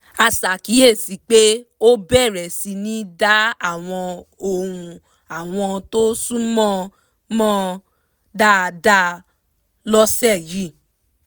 a ṣàkíyèsí pé ó bẹ̀rẹ̀ síní dá àwọn ohùn àwọn tó súnmọ́ mọ̀ dáadáa lọ́sẹ̀ yìí